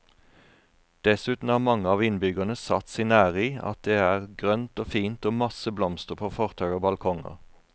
Dessuten har mange av innbyggerne satt sin ære i at det er grønt og fint og masse blomster på fortau og balkonger.